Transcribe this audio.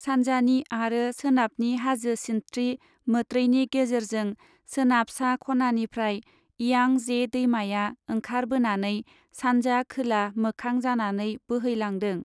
सानजानि आरो सोनाबनि हाजो सिनस्त्रि मोत्रैनि गेजेरजों सोनाब सा खनानिफ्राय इयांजे दैमाया ओंखार बोनानै सानजा खोला मोखां जानानै बोहैलांदों।